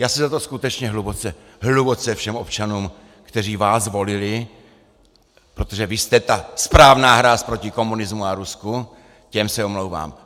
Já se za to skutečně hluboce, hluboce všem občanům, kteří vás volili, protože vy jste ta správná hráz proti komunismu a Rusku, těm se omlouvám.